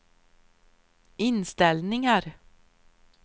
inställningar